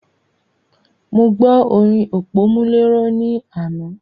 Mo gbo orin òpómúléró ní àná.